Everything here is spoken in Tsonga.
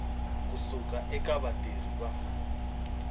ku suka eka vatirhi va